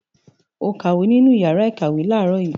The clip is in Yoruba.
O kàwé nínú ìyàrá-ìkàwé láàárọ̀ yìí?